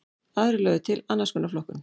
Aðrir lögðu til annars konar flokkun.